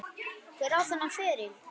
Hver á þennan feril?